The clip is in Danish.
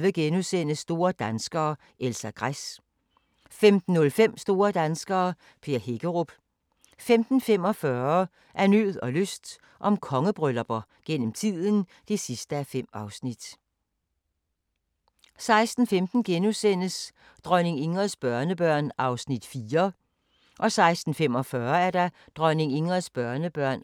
16:15: Dronning Ingrids børnebørn (4:5)* 16:45: Dronning Ingrids børnebørn